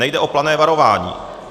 Nejde o plané varování.